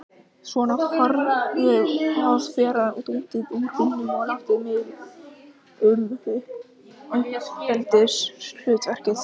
Svona, farðu að bera dótið úr bílnum og láttu mig um uppeldishlutverkið!